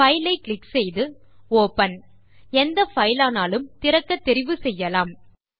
file ஐ click செய்து open எந்த பைல் ஆனாலும் திறக்கத் தெரிவு செய்யலாம்